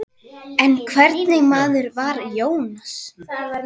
En hvernig maður var Jónas?